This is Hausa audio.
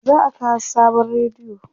za'a kawo sabon rediyo